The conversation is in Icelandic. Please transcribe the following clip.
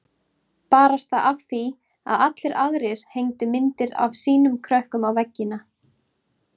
Barasta af því að allir aðrir hengdu myndir af sínum krökkum á veggina.